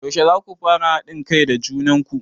Yaushe zaku fara haɗin kai da junan ku?